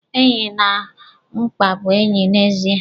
Enyi na mkpa bụ enye n'ezia.